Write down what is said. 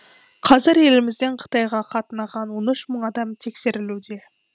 қазір елімізден қытайға қатынаған он үш мың адам тексерілуде